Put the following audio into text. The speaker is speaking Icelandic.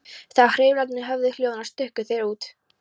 Þegar hreyflarnir höfðu hljóðnað stukku þeir út.